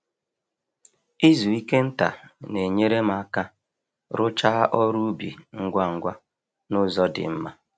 Izu ike nta na-enyere m aka rụchaa ọrụ ubi ngwa ngwa n'uzọ di mma